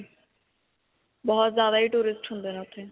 ਬਹੁਤ ਜ਼ਿਆਦਾ ਹੀ tourist ਹੁੰਦੇ ਨੇ ਓੱਥੇ.